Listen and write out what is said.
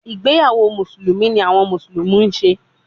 Igbeyawo Musulumi ni awọn Musulumi ṣe